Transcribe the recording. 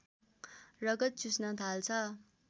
रगत चुस्न थाल्छ